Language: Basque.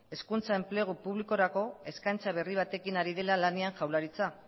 hezkuntza enplegu publikorako eskaintza berri batekin ari dela lanean jaurlaritza